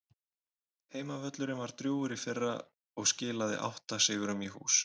Heimavöllurinn var drjúgur í fyrra og skilaði átta sigrum í hús.